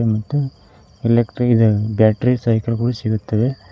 ಮತ್ತು electrical battery cycle ಗಳು ಸಿಗುತ್ತವೆ.